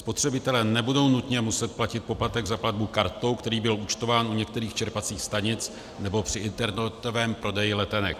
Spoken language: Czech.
Spotřebitelé nebudou nutně muset platit poplatek za platbu kartou, který byl účtován u některých čerpacích stanic nebo při internetovém prodeji letenek.